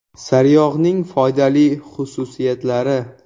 Sariyog‘ning foydali xususiyatlari.